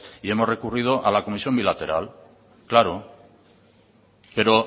y hemos recurrido a la comisión bilateral claro pero